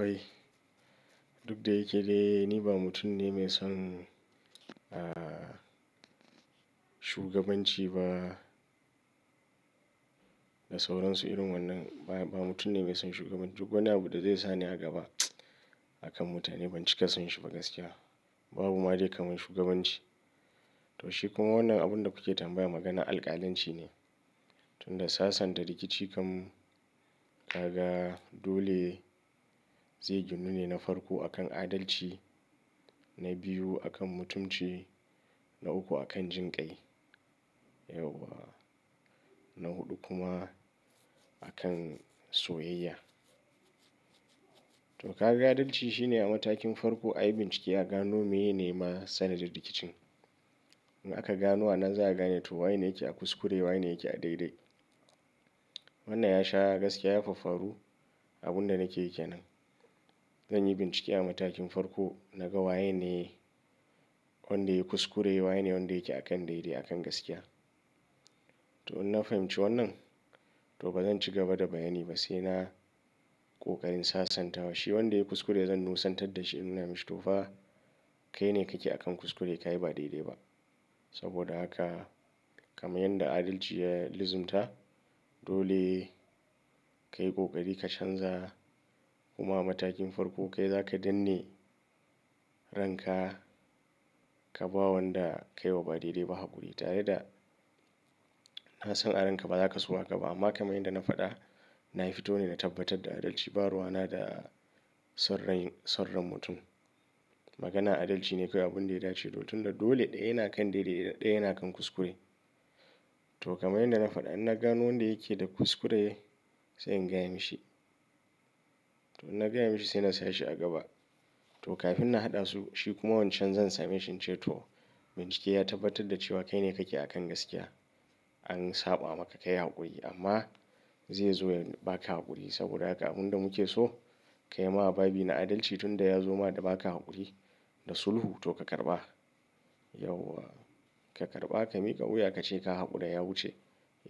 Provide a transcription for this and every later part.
Ai, duk da yake dai ni ba mutum ne mai son, shugabanci ba. Da sauransu irin wannan. Ba mutum ne mai son shugabanci. Duk wani abu da zai sa ni a gaba a kan mutane ban cika son shi ba gaskiya. Babu ma dai kamar shugabanci. Toh shi kuma wannan abun da kuke tambaya magana alkalanci ne. Tunda sasanta rikici kam kaga dole zai ginu ne na farko akan adalci, na biyu akan mutunci, na uku akan jin ƙai. Yauwa! Na huɗu kuma a kan soyayya. Toh ka ga adalci shine a matakin farko a yi bincike a gano meye ne ma sanadin rikicin. In aka gano anan za a gane toh wanene yake a kuskure, wanene yake a daidai. Wannan ya sha gaskiya, ya faffaru abun da nake yi kenan. Zan yi bincike a matakin farko naga wanene wanda yayi kuskure, wanene wanda yake a kan daidai, a kan gaskiya. Toh in na fahimci wannan, toh bazan ci gaba da bayani ba sai na ƙoƙarin sasanta wa. Shi wanda yayi kuskure zan nusantar da shi in nuna mishi tofa kai ne kake akan kuskure, kayi ba daidai ba. Saboda haka kamar yadda adalci ya lizimta, dole ka yi kokari ka canza. Kuma a matakin farko kai zaka danne ranka ka bawa wanda kayi wa ba daidai ba haƙuri. Tare da kasan a ran ka ba zaka so haka ba. Amma kamar yadda na faɗa na fito ne na tabbatar da adalci. Ba ruwa na da son rai, son ran mutum. Magana adalci ne kawai abin da ya dace. Toh tun da dole ɗaya yana kan daidai, ɗaya yana kan kuskure. Toh kamar yadda na faɗa idan na gano wanda yake da kuskure sai in gaya mishi. Toh in na gaya mishi sai na saya shi a gaba. Toh kafin na haɗa su shi kuma wancan zan same shi in ce toh, bincike ya tabbatar da cewa kai ne kake a kan gaskiya. An saɓa maka ka yi haƙuri. Amma zai zo ya baka haƙuri saboda haka abin da mu ke so ka yi ma babi na adalci. Tunda ya zo ma da baka haƙuri da sulhu toh ka karɓa. Yauwa! Ka karɓa ka miƙa wuya ka ce ka haƙura ya wuce.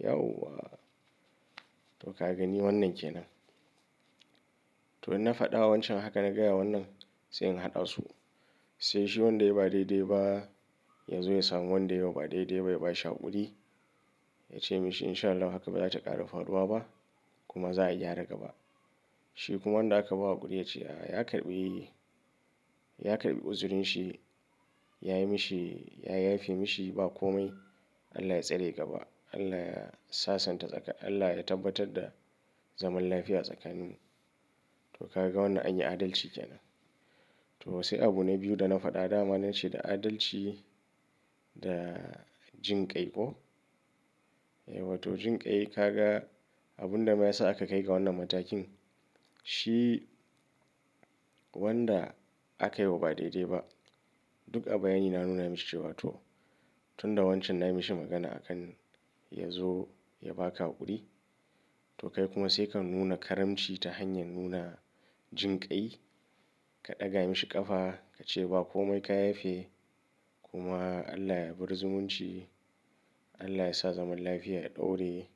Yauwa! Toh ka gani wannan kenan. Toh in na faɗa wa wancan haka na gaya wannan sai in haɗa su. Sai shi wanda ya ba daidai ba ya zo ya samu wanda ya yi wa ba daidai ba ya ba shi haƙuri. Ya ce mishi in sha Allah haka ba za ta ƙara faduwa ba kuma za ayi gyara gaba. Shi kuma wanda aka ba haƙuri ya ce a ya karɓi, ya karɓi uzurin shi, ya yi mishi, ya yafe mishi ba komai. Allah ya tsare gaba. Allah ya sasanta tsakanin, Allah ya tabbatar da zaman lafiya tsakanin. To ka ga wannan anyi adalci kenan. Toh sai abu na biyu da na faɗa dama nace da adalci da jin ƙai ko? Wato jinƙai ka ga abun da ya sa aka kai ga wannan matakin shi wanda aka yi wa ba daidai ba. Duk a bayani na nuna mishi cewa toh, tun da wancan na yi mishi magana akan ya zo ya baƙa haƙuri. To kai kuma sai ka nuna karamci ta hanyar nuna jinƙai. Ka ɗaga mishi ƙafa ka ce ba komai ka yafe. Kuma Allah ya bar zumunci. Allah yasa zaman lafiya ya ɗore.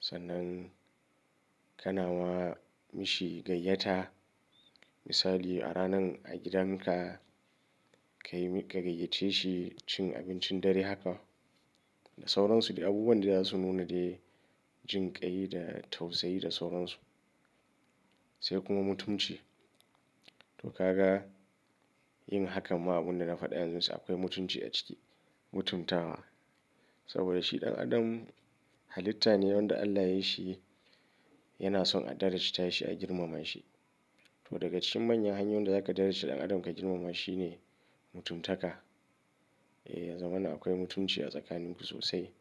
Sannan kana ma mishi gayyata. Misali a ranan a gidan ka kayi mi, ka gayyace shi cin abincin dare haka. Da sauransu. Abubuwan da za su nuna dai jinƙai da tausayi da sauran su. Sai kuma mutunci. Toh ka ga yin hakan ma abun da na faɗa yanzu sa akwai mutunci a ciki, mutuntawa. Saboda shi ɗan adam halitta ne wanda Allah ya yi shi yana son a darajta shi a girmama shi. Toh daga cikin manyan hanyoyin da za ka darajta ɗan adam ka girmama shi ne mutuntaka. Yanzu wannan akwai mutunci a tsakanin ku sosai.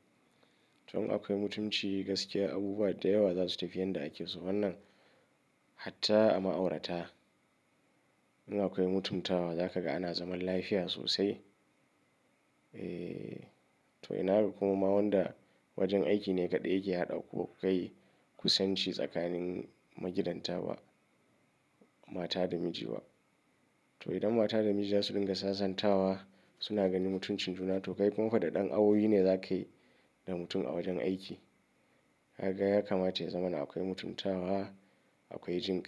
Toh in akwai mutunci gaskiya abubuwa da yawa za su tafi yadda ake so. Wannan hatta a ma'aurata in akwai mutuntawa za ka ga ana zaman lafiya sosai. Toh ina ga kuma ma wanda wajen aiki ne kaɗai yake haɗa kuwa kai kusanci tsakanin magidanta ba mata da miji ba. Toh idan mata da miji za su dinga sasantawa suna gani mutuncin juna to kai kuma fa ɗan awowi ne za kayi da mutum a wajen aiki. Ka ga ya kamata ya zamana akwai mutuntawa, akwai jinƙai.